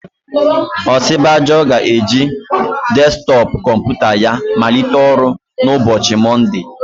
Osibajo ga-eji desktọpụ kọmputa ya malite ọrụ na ụbọchị Mọnde.